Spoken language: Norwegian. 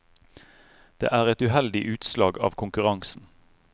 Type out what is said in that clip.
Det er et uheldig utslag av konkurransen.